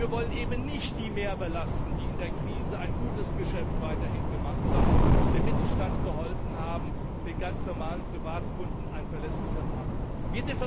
Wir wollen eben nicht diejenigen mehr belasten, die in der Krise weiterhin ein gutes Geschäft gemacht haben, dem Mittelstand geholfen haben, den ganz normalen Privatkunden ein verlässlicher Partner waren.